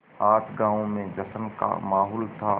आज गाँव में जश्न का माहौल था